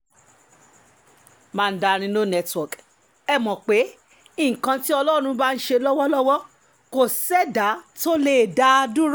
mandarin no network ẹ mọ̀ pé nǹkan tí ọlọ́run bá ń ṣe lọ́wọ́lọ́wọ́ kò sẹ́dàá tó lè dá a dúró